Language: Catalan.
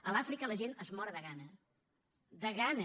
a l’àfrica la gent es mor de gana de gana